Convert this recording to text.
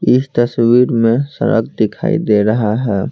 इस तस्वीर में सड़क दिखाई दे रहा है।